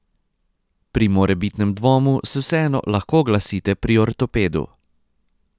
Pri morebitnem dvomu se vseeno lahko oglasite pri ortopedu.